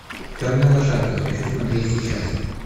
темная лошадка хочу смотреть сейчас